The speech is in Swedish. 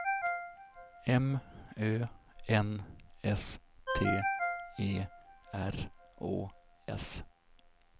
M Ö N S T E R Å S